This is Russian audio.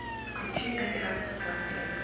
включи операцию пластилин